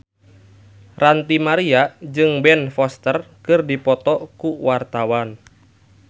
Ranty Maria jeung Ben Foster keur dipoto ku wartawan